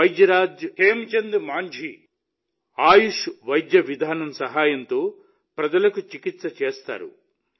వైద్యరాజ్ హేమ్చంద్ మాంఝీ ఆయుష్ వైద్య విధానం సహాయంతో ప్రజలకు చికిత్స చేస్తారు